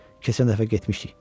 Keçən dəfə getmişdik.